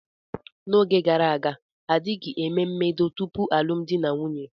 N'oge gara aga, a dịghị eme mbedo tupu alụmdi na nwunye.